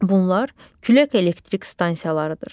Bunlar külək elektrik stansiyalarıdır.